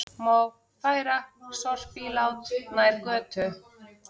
Má færa sorpílát nær götu